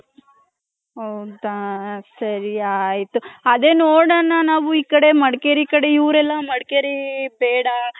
ಹೌದ ಸರಿ ಆಯ್ತು ಅದೇ ನೋಡನ ನಾವು ಈ ಕಡೆ ಮಡಕೇರಿ ಕಡೆ ಇವರೆಲ್ಲ ಮಡಕೇರಿ ಬೇಡ .